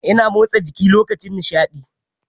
Ina motsa jiki lokacin nishaɗi.